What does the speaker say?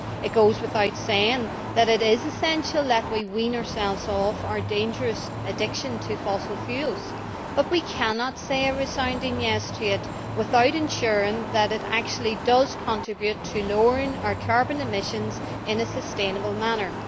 It goes without saying that it is essential that we wean ourselves off our dangerous addiction to fossil fuels, but we cannot say a resounding yes' to it without ensuring that it actually does contribute to lowering our carbon emissions in a sustainable manner.